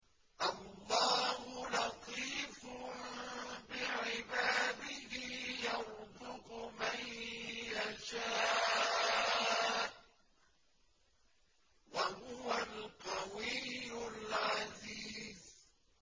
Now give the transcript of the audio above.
اللَّهُ لَطِيفٌ بِعِبَادِهِ يَرْزُقُ مَن يَشَاءُ ۖ وَهُوَ الْقَوِيُّ الْعَزِيزُ